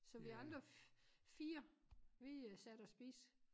Så vi andre 4 vi sad og spiste